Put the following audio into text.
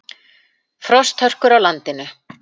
Frosthörkur á landinu